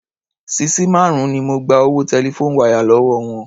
Sisí márùn-ún ni mo gba owó telephone wire lówó wọn.